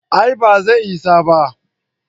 a'a ba zai isa ba